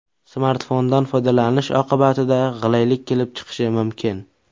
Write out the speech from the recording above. Smartfondan foydalanish oqibatida g‘ilaylik kelib chiqishi mumkin.